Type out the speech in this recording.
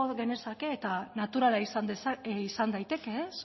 genezake eta naturala izan daiteke